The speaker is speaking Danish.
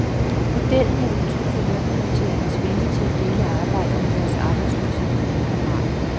Modellen er udtryk for lønmodtagernes vilje til at dele arbejdet med deres arbejdsløse kammerater.